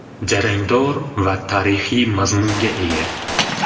Jarangdor va tarixiy mazmunga ega.